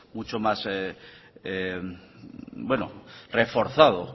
mucho más reforzado